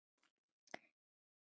Jóna frænka er farin.